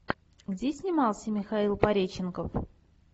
где снимался михаил пореченков